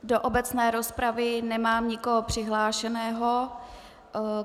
Do obecné rozpravy nemám nikoho přihlášeného.